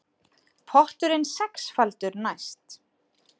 Potturinn sexfaldur næst